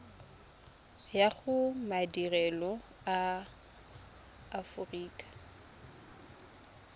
ya go madirelo a aforika